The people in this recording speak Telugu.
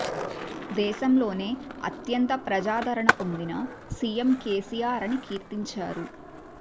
దేశంలోనే అత్యంత ప్రజాధారణ పొందిన సీఎం కేసీఆర్ అని కీర్తిం చారు